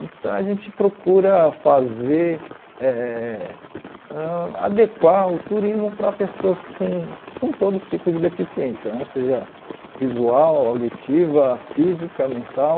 Então a gente procura fazer, eh ãh adequar o turismo para pessoas com com todos os tipos de deficiência, seja visual, auditiva, física, mental,